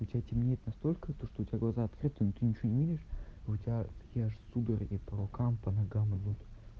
у тебя темнеет настолько то что у тебя глаза открыты но ты ничего не видишь у тебя такие аж судороги по рукам по ногам идут